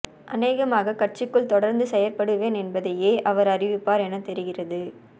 அனேகமாக கட்சிக்குள் தொடர்ந்து செயற்படுவேன் என்பதையே அவர் அறிவிப்பார் என தெரிகிறது